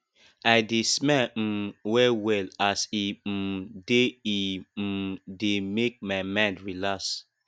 i dey smile um wellwell as e um dey e um dey make my mind relax